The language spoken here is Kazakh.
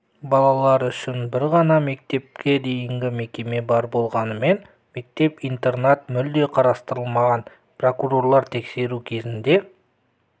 балалар үшін бір ғана мектепке дейінгі мекеме бар болғанымен мектеп-интернат мүлде қарастырылмаған прокурорлар тексеру кезінде